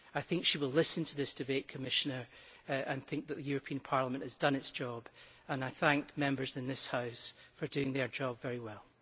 I think she will listen to this debate, Commissioner, and think that the European Parliament has done its job and I thank Members in this House for doing their job very well.